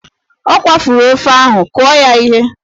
Ọ kwafuru ofe ahụ, kụọ ya ihe!